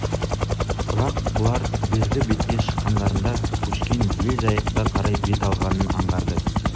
бірақ бұлар бергі бетке шыққандарында көшкен ел жайыққа қарай бет алғанын аңғарды